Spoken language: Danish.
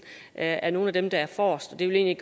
er er nogle af dem der er forrest det vil jeg